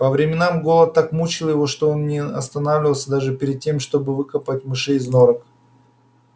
по временам голод так мучил его что он не останавливался даже перед тем чтобы выкапывать мышей из норок